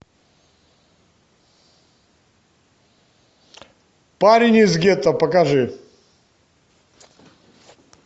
парень из гетто покажи